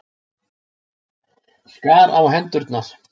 Skar á hendurnar.